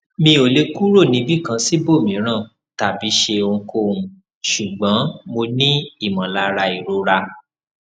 mi o le kuro nibikan sibomiran tabi se ohunkohun sugbon mo ni imolara irora